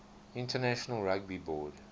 international rugby board